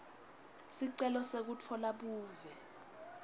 sicelo sekutfola buve